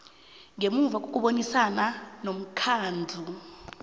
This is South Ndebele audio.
ngemuva kokubonisana nomkhandlu